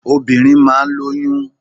Obìnrin máa ń lóyún.